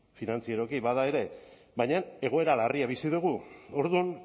finantzieroki bada ere baina egoera larria bizi dugu orduan